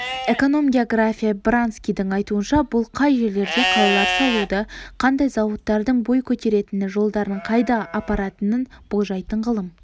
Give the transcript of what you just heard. эконом-географ баранскийдің айтуынша бұл қай жерлерде қалалар салуды қандай зауыттардың бой көтеретінін жолдардың қайда апаратынын болжайтын ғылым